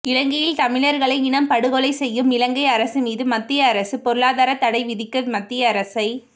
இலங்கையில் தமிழர்களை இனப்படுகொலை செய்யும்இலங்கை அரசு மீது மத்திய அரசு பொருளாதாரத் தடைவிதிக்க மத்திய அரசை